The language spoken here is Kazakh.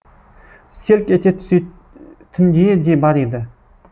селк ете түсе тіндейі де бар еді